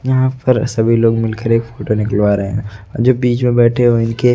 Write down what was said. यहां पर सभी लोग मिलकर एक फोटो निकलवा रहे जो बीच में बैठे हुए इनके--